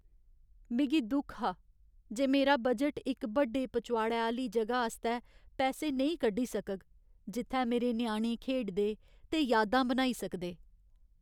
मिगी दुख हा जे मेरा बजट इक बड्डे पचोआड़ै आह्‌ली जगह आस्तै पैसे नेईं कड्ढी सकग जित्थै मेरे ञ्याणे खेढदे ते यादां बनाई सकदे।